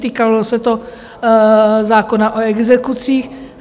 Týkalo se to zákona o exekucích.